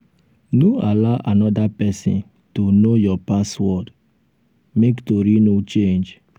no allow anoda pesin to know your password make tori no change.